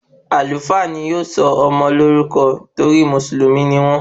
Àlúfà ni ó sọ ọmọ lórúkọ torí Mùsùlùmí ni wón